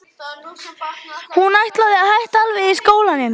Að hún ætlaði að hætta alveg í skólanum.